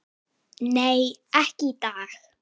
Nei, ekki í dag.